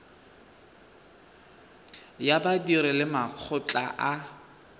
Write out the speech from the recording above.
ya badiri le makgotla a